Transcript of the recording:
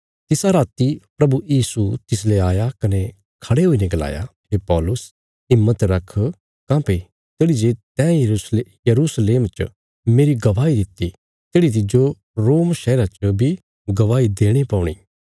तिसा राति प्रभु यीशु तिसले आया कने खड़े हुईने गलाया हे पौलुस हिम्मत रख काँह्भई तेढ़ी जे तैं यरूशलेम च मेरी गवाही दित्ति तेढ़ी तिज्जो रोम शहरा च बी गवाही देणे पौणी